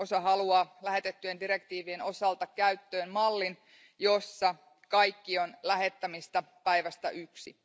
Osa haluaa lähetettyjen direktiivien osalta käyttöön mallin, jossa kaikki on lähettämistä päivästä yksi.